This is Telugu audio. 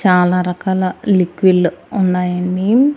చాలా రకాల లిక్విళ్లు ఉన్నాయండి.